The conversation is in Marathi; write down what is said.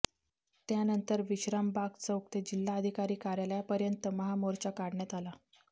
त्यानंतर विश्रामबाग चौक ते जिल्हाधिकारी कार्यालयापर्यंत महामोर्चा काढण्यात आला